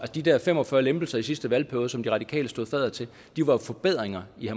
de der fem og fyrre lempelser i sidste valgperiode som de radikale stod fadder til var jo forbedringer i